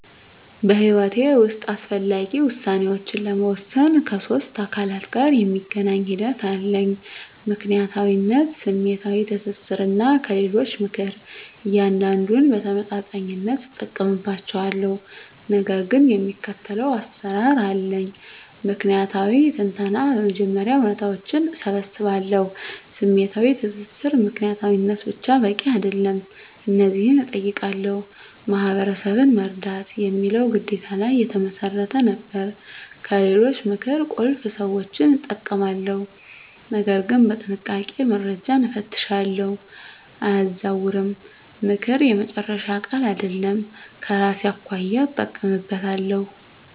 በሕይወቴ ውስጥ አስፈላጊ ውሳኔዎችን ለመወሰን ከሶስት አካላት ጋር የሚገናኝ ሂደት አለኝ፦ ምክንያታዊነት፣ ስሜታዊ ትስስር፣ እና ከሌሎች ምክር። እያንዳንዱን በተመጣጣኝነት እጠቀምባቸዋለሁ፣ ነገር ግን የሚከተለው አሰራር አለኝ። ምክንያታዊ ትንተና በመጀመሪያ እውነታዎችን እሰባስባለሁ። #ስሜታዊ ትስስር ምክንያታዊነት ብቻ በቂ አይደለም። እነዚህን እጠይቃለሁ፦ "ማህበረሰብን መርዳት" የሚለው ግዴታ ላይ የተመሰረተ ነበር። #ከሌሎች ምክር ቁልፍ ሰዎችን እጠቀማለሁ፣ ነገር ግን በጥንቃቄ፦ - መረጃን እፈትሻለሁ፣ አያዛውርም፦ ምክር የመጨረሻ ቃል አይደለም፤ ከራሴ አኳያ እጠቀምበታለሁ።